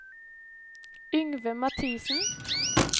Yngve Mathisen